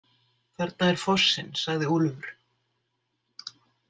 Þarna er fossinn, sagði Úlfur.